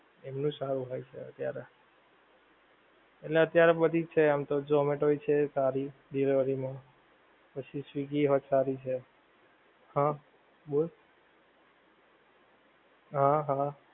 એમનું સારું હોય છે અત્યારે એટલે અત્યારે બધુ જ છે એમ તો zomato છે સારી delivery મા પછી swiggy પણ સારી છે હા બોલ હા હા